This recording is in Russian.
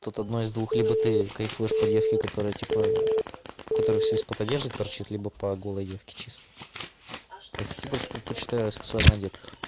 тут одно из двух либо ты кайфуешь по девке которая типа у которой все из-под одежды торчит либо по голой девки честно я больше предпочитаю сексуально одетых